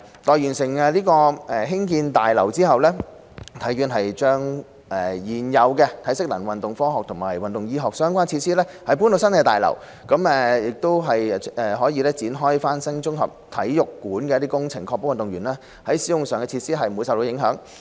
待完成興建新大樓後，體院會將現有的體適能、運動科學及運動醫學相關設施遷移到新大樓，才會展開翻新綜合體育館的工程，確保運動員使用以上的設施不受影響。